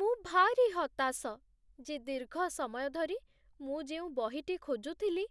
ମୁଁ ଭାରି ହତାଶ ଯେ ଦୀର୍ଘ ସମୟ ଧରି ମୁଁ ଯେଉଁ ବହିଟି ଖୋଜୁଥିଲି,